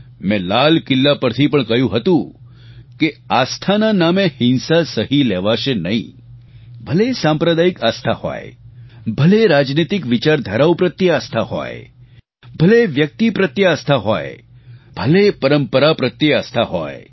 મેં લાલ કિલ્લા પરથી પણ કહ્યું હતું કે આસ્થાના નામે હિંસા સહી લેવાશે નહીં ભલે એ સાંપ્રદાયિક આસ્થા હોય ભલે એ રાજનીતિક વિચારધારાઓ પ્રત્યે આસ્થા હોય ભલે એ વ્યક્તિ પ્રત્યે આસ્થા હોય ભલે એ પરંપરા પ્રત્યે આસ્થા હોય